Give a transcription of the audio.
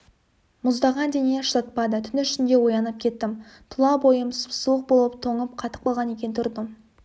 мұздаған дене шыдатпады түн ішінде оянып кеттім тұла бойым сұп-суық болып тоңып қатып қалған екен тұрдым